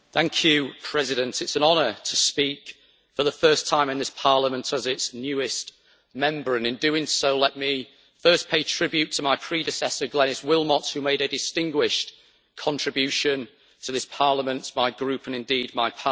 Mr President, it is an honour to speak for the first time in this Parliament as its newest Member, and in doing so let me first pay tribute to my predecessor, Glenis Willmott, who made a distinguished contribution to this Parliament, my Group and indeed my party.